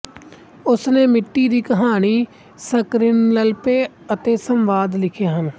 ਉਸਨੇ ਮਿੱਟੀ ਦੀ ਕਹਾਣੀ ਸਕ੍ਰੀਨਪਲੇ ਅਤੇ ਸੰਵਾਦ ਲਿਖੇ ਹਨ